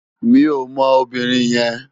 Mi ó mò óbìrín yèn